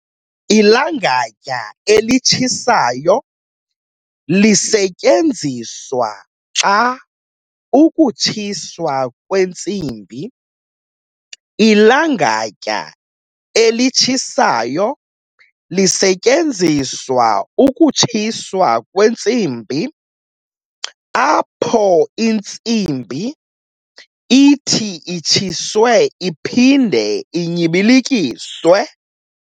Ilangatya elitshisayo lisetyenziswa xa ukutshiswa kwentsimbi. Ilangatya elitshisayo lisetyenziswa ukutshiswa kwentsimbi, apho intsimbi ithi itshiswe iphinde inyibilikiswe.